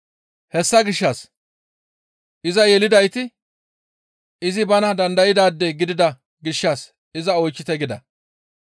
Hessa gishshas, «Iza yelidayti izi bana dandaydaade gidida gishshas iza oychchite» gida.